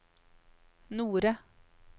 Nore